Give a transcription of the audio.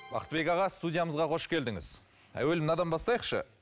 бақтыбек аға студиямызға қош келдіңіз әуелі мынадан бастайықшы